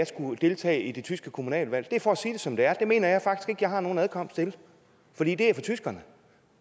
skulle deltage i det tyske kommunalvalg det er for at sige det som det er det mener jeg faktisk jeg har nogen adkomst til for det det er for tyskerne